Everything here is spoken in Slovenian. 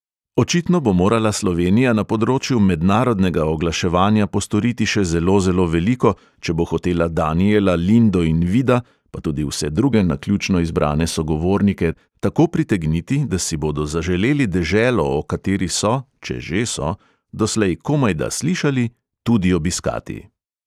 Očitno bo morala slovenija na področju mednarodnega oglaševanja postoriti še zelo zelo veliko, če bo hotela danijela, lindo in vida pa tudi vse druge naključno izbrane sogovornike tako pritegniti, da si bodo zaželeli deželo, o kateri so (če že so) doslej komajda slišali, tudi obiskati.